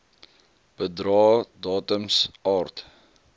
bedrae datums aard